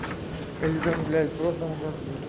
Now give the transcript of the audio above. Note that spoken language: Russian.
ильдан блять просто